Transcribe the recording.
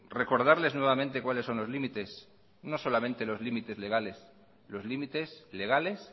recordarles nuevamente cuáles son los límites no solamente los límites legales los límites legales